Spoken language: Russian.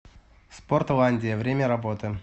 спортландия время работы